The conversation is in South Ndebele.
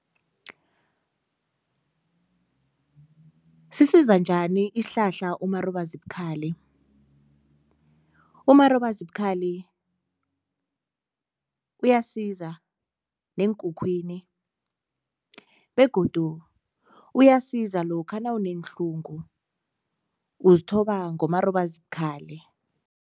Sisiza njani isihlahla umarobazibukhali? Umarobazibukhali uyasiza neenkukhwini begodu uyasiza lokha nawuneenhlungu uzithoba ngomarobazibukhali.